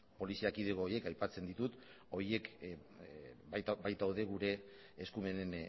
poliziakide horiek aipatzen ditut horiek baitaude gure eskumenen